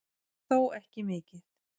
Þó ekki mikið